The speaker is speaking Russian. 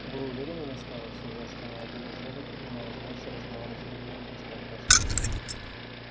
вы уверены настаивала сьюзен что ни один из роботов не имел возможности разговаривать с другими после опроса